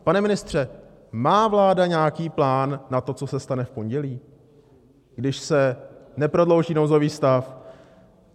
Pane ministře, má vláda nějaký plán na to, co se stane v pondělí, když se neprodlouží nouzový stav?